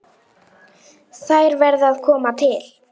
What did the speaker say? Þær verði að koma til.